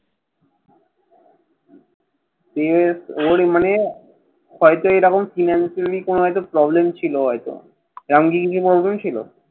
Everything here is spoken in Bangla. CMS ওর মানে হয়তো এরকম financially কোনো একটা problem ছিল হয়তো। এমন কি কোনো problem ছিল